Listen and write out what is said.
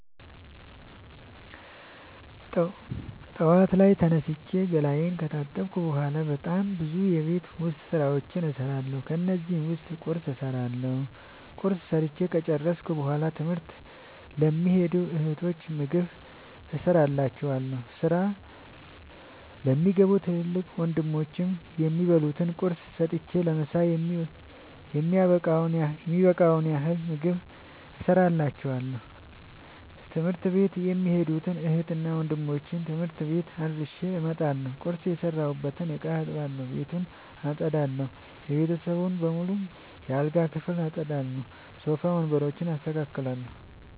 ጠዋት ላይ ተነስቼ ገላየን ከታጠብኩ በሗላ በጣም ብዙ የቤት ዉስጥ ስራዎችን እሠራለሁ። ከነዚህም ዉስጥ ቁርስ እሠራለሁ። ቁርስ ሠርቸ ከጨረሥኩ በሗላ ትምህርት ለሚኸዱ እህቶቸ ምግብ እቋጥርላቸዋለሁ። ስራ ለሚገቡ ትልቅ ወንድሞቼም የሚበሉት ቁርስ ሰጥቸ ለምሣ የሚበቃቸዉን ያህል ምግብ እቋጥርላቸዋለሁ። ትምህርት ቤት የሚኸዱትን እህትና ወንድሞቼ ትምህርት ቤት አድርሼ እመጣለሁ። ቁርስ የሰራሁበትን እቃ አጥባለሁ። ቤቱን አጠዳለሁ። የቤተሰቡን በሙሉ የአልጋ ክፍል አጠዳለሁ። ሶፋ ወንበሮችን አስተካክላለሁ።